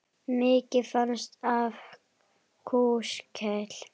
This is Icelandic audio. Mikið fannst af kúskel.